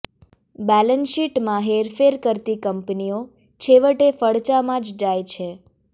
બેલેન્સશીટમાં હેરફેર કરતી કંપનીઓ છેવટે ફડચામાં જ જાય છે